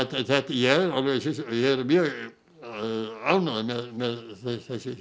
ég er mjög ánægður með þessi